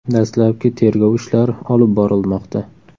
Dastlabki tergov ishlari olib borilmoqda.